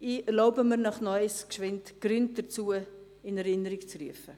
Ich erlaube mir, Ihnen noch einmal die Gründe in Erinnerung zu rufen: